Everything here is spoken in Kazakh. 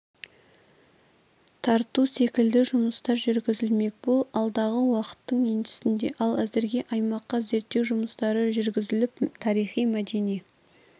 тарту секілді жұмыстар жүргізілмек бұл алдағы уақыттың еншісінде ал әзірге аймақта зерттеу жұмыстары жүргізіліп тарихи-мәдени